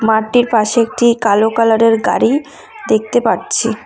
মাঠটির পাশে একটি কালো কালারের গাড়ি দেখতে পাচ্ছি।